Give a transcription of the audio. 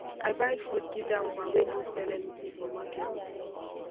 i buy food give dat woman wey no sell anytin for market